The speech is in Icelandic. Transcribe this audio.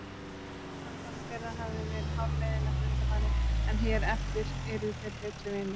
Samband þeirra hafði verið hálfleiðinlegt undanfarið en hér eftir yrðu þeir betri vinir.